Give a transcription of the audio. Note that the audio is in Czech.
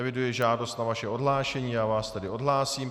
Eviduji žádost na vaše odhlášení, já vás tedy odhlásím.